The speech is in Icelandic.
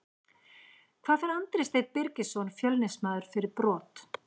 Það fær Andri Steinn Birgisson Fjölnismaður fyrir brot.